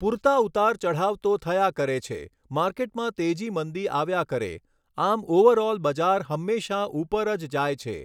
પૂરતા ઉતાર ચઢાવ તો થયા કરે છે માર્કેટમાં તેજી મંદી આવ્યા કરે આમ ઓવરઑલ બજાર હંમેશાં ઉપર જ જાય છે